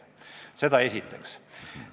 Seda esiteks.